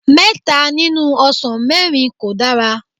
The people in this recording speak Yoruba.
mẹta nínú ọsàn mẹ́rin kò dára.